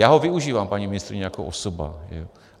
Já ho využívám, paní ministryně, jako osoba.